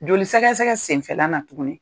Joli sɛgɛsɛgɛ senfɛla na tuguni